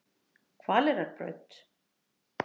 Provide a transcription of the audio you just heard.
Hvaleyrarbraut